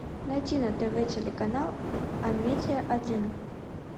найти на тв телеканал амедия один